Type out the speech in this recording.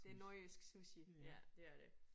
Det nordjysk sushi. Ja det er det